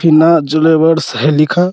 फीना jewellers है लिखा --